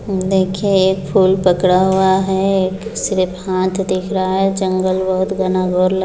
देखिये एक फूल पकड़ा हुआ है एक सिर्फ हाथ दिख रहा है जंगल बहुत घना-घोर लग --